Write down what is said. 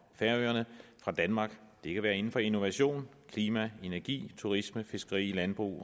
færøerne fra danmark det kan være inden for innovation klima energi turisme fiskeri landbrug